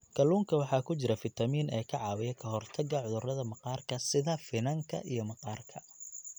Kalluunka waxaa ku jira fiitamiin e ka caawiya ka hortagga cudurrada maqaarka sida finanka iyo maqaarka.